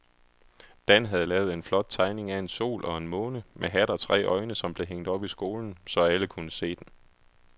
Dan havde lavet en flot tegning af en sol og en måne med hat og tre øjne, som blev hængt op i skolen, så alle kunne se den.